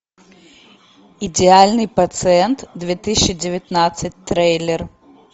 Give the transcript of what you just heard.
идеальный пациент две тысячи девятнадцать трейлер